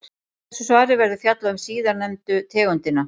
Í þessu svari verður fjallað um síðarnefndu tegundina.